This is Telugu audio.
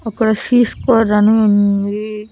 అక్కడ అని ఉంది.